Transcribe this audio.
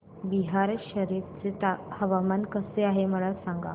बिहार शरीफ चे हवामान कसे आहे मला सांगा